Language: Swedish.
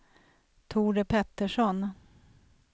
Tore Pettersson